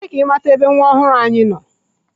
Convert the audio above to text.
Lee ka ị mata ebe nwa ọhụrụ anyị nọ!.